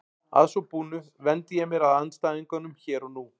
Að svo búnu vendi ég mér að andstæðingunum hér og nú.